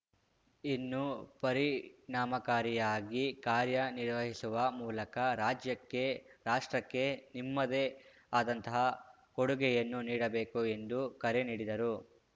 ಇನ್ನೂ ಪರಿಣಾಮಕಾರಿಯಾಗಿ ಕಾರ್ಯ ನಿರ್ವಹಿಸುವ ಮೂಲಕ ರಾಜ್ಯಕ್ಕೆ ರಾಷ್ಟ್ರಕ್ಕೆ ನಿಮ್ಮದೇ ಆದಂತಹ ಕೊಡುಗೆಯನ್ನು ನೀಡಬೇಕು ಎಂದು ಕರೆ ನೀಡಿದರು